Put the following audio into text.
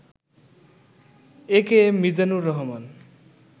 AKM Mizanur Rahman